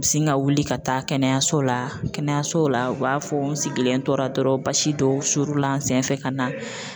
U bɛ sin ka wuli ka taa kɛnɛyaso la kɛnɛyaso la u b'a fɔ n sigilen tora dɔrɔn basi dɔw suurula n sen fɛ ka na